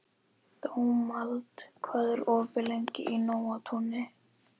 Dómald, hvað er opið lengi í Nóatúni?